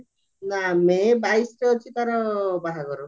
ନା ମେ ବାଇଶିରେ ଅଛି ତାର ବାହାଘର